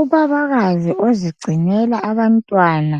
Ubabakazi ozigcinela abantwana